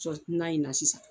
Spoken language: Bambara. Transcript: Sɔ na in na sisan